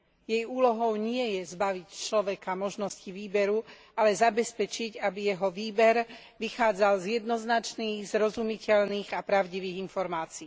Jej úlohou nie je zbaviť človeka možnosti výberu, ale zabezpečiť, aby jeho výber vychádzal z jednoznačných, zrozumiteľných a pravdivých informácií.